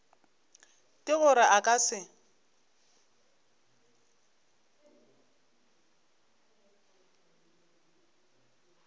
ke gore a ka se